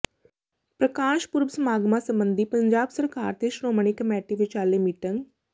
ਪ੍ਰਕਾਸ਼ ਪੁਰਬ ਸਮਾਗਮਾਂ ਸਬੰਧੀ ਪੰਜਾਬ ਸਰਕਾਰ ਤੇ ਸ਼੍ਰੋਮਣੀ ਕਮੇਟੀ ਵਿਚਾਲੇ ਮੀਟਿੰਗ